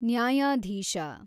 ನ್ಯಾಯಾಧೀಶ